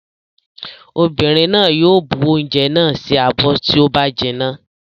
Obìnrin náà yóò bu oúnjẹ náà sí abọ́ tí ó bá jinná.